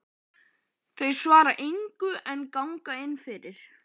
Þau svara engu en ganga inn fyrir.